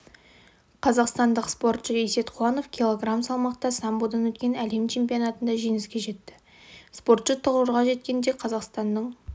қазақстандық спортшы есет қуанов килограмм салмақта самбодан өткен әлем чемпионатында жеңіске жетті спортшы тұғырға жеткенде қазақстанның